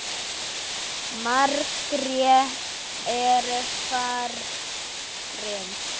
Margrét er farin.